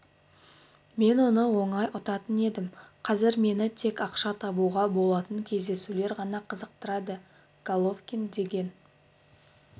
мен оны оңай ұтатын едім қазір мені тек ақша табуға болатын кездесулер ғана қызықтырады головкин деген